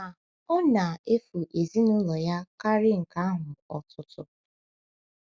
Ma ọ na-efu ezinụlọ ya karịa nke ahụ ọtụtụ.